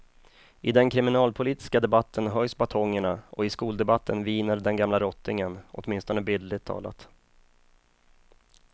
I den kriminalpolitiska debatten höjs batongerna och i skoldebatten viner den gamla rottingen, åtminstone bildligt talat.